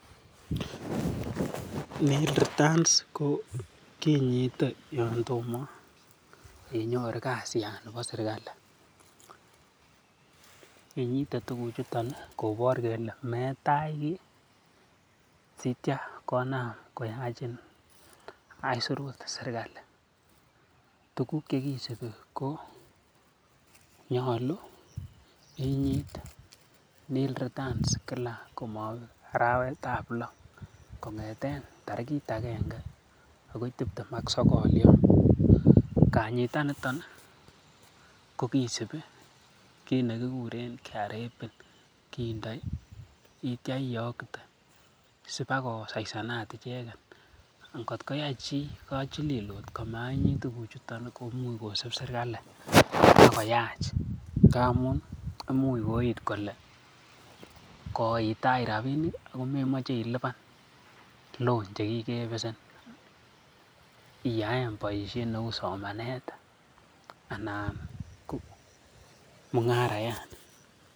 returns ko kinyite yon tomo inyoru kasiyan nebo serkalit. Inyite tuguchuto kobor kole metach kiy sitya konam koyachin aisurut serkalit. Tuguk che kisubi ko nyolu inyit nil returns kila komabek arawetab lo kong'eten tarigit agenge agoi tibtem ak sogol yon. Kanyitanito kogisibi kit nekiguren KRA PIN kindoi itya iyokte sibakosaisanat icheget. Ngotko yai chi lelut komanyit tuguchuto komuch kosib serkalit ak koyach ngamun imuch koit kole koitach rabinik ago memoche ilipan loan che kigebesen iyaen boisiet neu somanet anan ko mung'arayan.